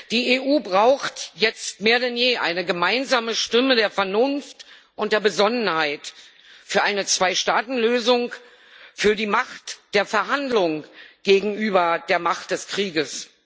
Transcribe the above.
Die EU braucht jetzt mehr denn je eine gemeinsame Stimme der Vernunft und der Besonnenheit für eine Zweistaatenlösung, für die Macht der Verhandlung gegenüber der Macht des Krieges.